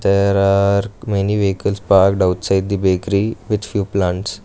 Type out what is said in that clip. there are many vehicles parked outside the bakery with few plants.